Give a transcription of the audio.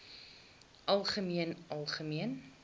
algemeen algemeen